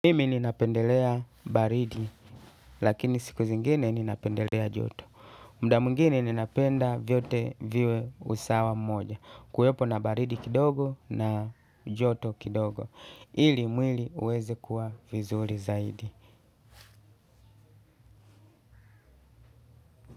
Mimi ninapendelea baridi lakini siku zingine ninapendelea joto. Muda mwingine ninapenda vyote viwe usawa mmoja kuwepo na baridi kidogo na joto kidogo. Ili mwili uweze kuwa vizuri zaidi.